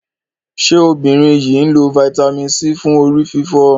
ṣe obìnrin yí nlọ Vitamin C fún orí-fífọ́?